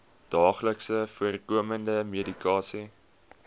daagliks voorkomende medikasie